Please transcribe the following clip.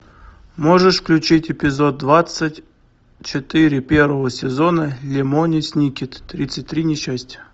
можешь включить эпизод двадцать четыре первого сезона лемони сникет тридцать три несчастья